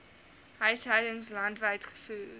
huishoudings landwyd gevoer